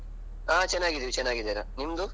ಹಾ ಚೆನ್ನಾಗಿದಿವಿ ಚೆನ್ನಾಗಿದರ. ನಿಮ್ದು?